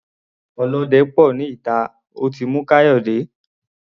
Olóde pò ní ìta, ó ti mú Kayode.